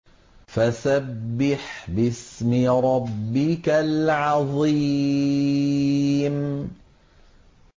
فَسَبِّحْ بِاسْمِ رَبِّكَ الْعَظِيمِ